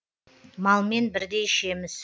малмен бірдей ішеміз